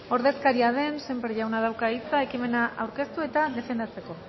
ordezkaria den sémper jaunak dauka hitza ekimena aurkeztu eta defendatzeko